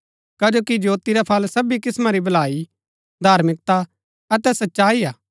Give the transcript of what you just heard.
कजो कि ज्योति रा फळ सबी किस्‍मां री भलाई धार्मिकता अतै सच्चाई हा